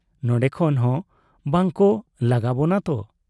ᱱᱚᱸᱰᱮ ᱠᱷᱚᱱ ᱦᱚᱸ ᱵᱟᱠᱚ ᱞᱟᱜᱟᱵᱚᱱᱟ ᱛᱚ ?